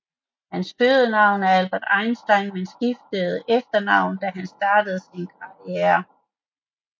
Hans fødenavn var Albert Einstein men skiftede efternavn da han startede sin karriere